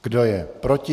Kdo je proti?